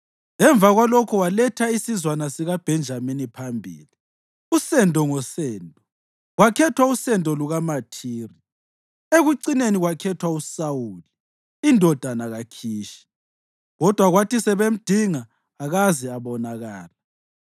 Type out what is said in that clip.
Emva kwalokho waletha isizwana sikaBhenjamini phambili, usendo ngosendo, kwakhethwa usendo lukaMathiri. Ekucineni kwakhethwa uSawuli, indodana kaKhishi. Kodwa kwathi sebemdinga akaze abonakala.